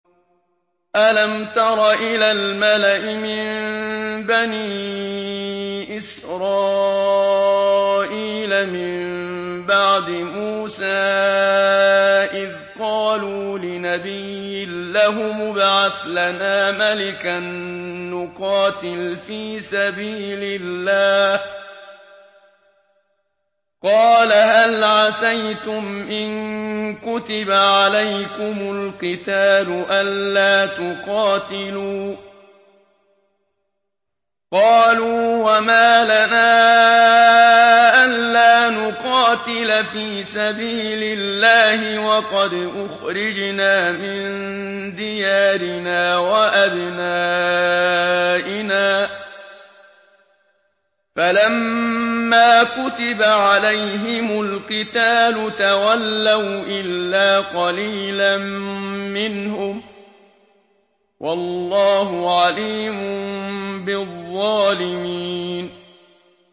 أَلَمْ تَرَ إِلَى الْمَلَإِ مِن بَنِي إِسْرَائِيلَ مِن بَعْدِ مُوسَىٰ إِذْ قَالُوا لِنَبِيٍّ لَّهُمُ ابْعَثْ لَنَا مَلِكًا نُّقَاتِلْ فِي سَبِيلِ اللَّهِ ۖ قَالَ هَلْ عَسَيْتُمْ إِن كُتِبَ عَلَيْكُمُ الْقِتَالُ أَلَّا تُقَاتِلُوا ۖ قَالُوا وَمَا لَنَا أَلَّا نُقَاتِلَ فِي سَبِيلِ اللَّهِ وَقَدْ أُخْرِجْنَا مِن دِيَارِنَا وَأَبْنَائِنَا ۖ فَلَمَّا كُتِبَ عَلَيْهِمُ الْقِتَالُ تَوَلَّوْا إِلَّا قَلِيلًا مِّنْهُمْ ۗ وَاللَّهُ عَلِيمٌ بِالظَّالِمِينَ